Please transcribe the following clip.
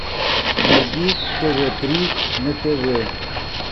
найди тв три на тв